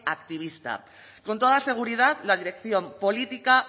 activista con toda seguridad la dirección política